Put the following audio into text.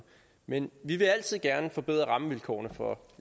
men vi vil altid gerne forbedre rammevilkårene for